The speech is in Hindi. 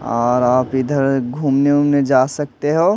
और आप इधर घूमने उमने जा सकते हो--